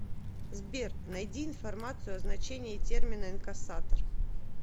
сбер найди информацию о значении термина инкассатор